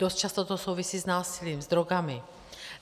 Dost často to souvisí s násilím, s drogami.